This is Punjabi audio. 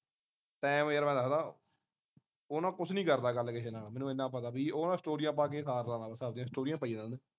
ਟਾਈਮ ਯਾਰ ਮੈਂ ਦੱਹਦਾ ਉਹ ਨਾ ਕੁਛ ਨੀ ਕਰਦਾ ਗੱਲ ਕਿਹੇ ਨਾਲ ਮੈਨੂੰ ਇੰਨਾ ਪਤਾ ਬਈ ਉਹ ਨਾ ਸਟੋਰੀਆਂ ਪਾ ਕੇ ਸਾਰ ਸਟੋਰੀਆਂ ਪਾਈਆ ਜਾਂਦੀਆ